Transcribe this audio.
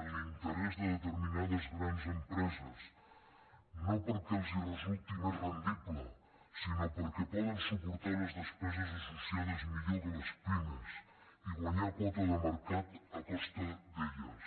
en l’interès de determinades grans empreses no perquè els resulti més rendible sinó perquè poden suportar les despeses associades millor que les pimes i guanyar quota de mercat a costa d’elles